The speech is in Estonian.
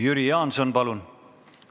Jüri Jaanson, palun!